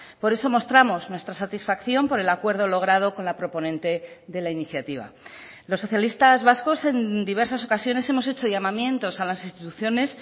por eso mostramos nuestra satisfacción por el acuerdo logrado con la proponente de la iniciativa los socialistas vascos en diversas ocasiones hemos hecho llamamientos a las instituciones